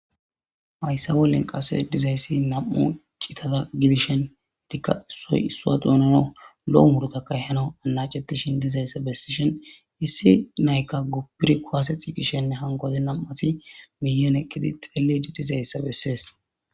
hayssa bollen qasse dizayssi nam7u citada gidishen etikka soysuwaduunano lo7o murotakay hano anacetishin dizayssa bessishen issi naykka goppir kuwase xiqishenne hankodi nam7ati miyon eqqidi xelli dizayssa bessees